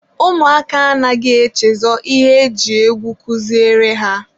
ụmụaka anaghị echezọ ihe e ji egwu kuziere ha.